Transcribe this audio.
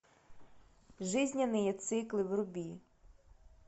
жизненные циклы вруби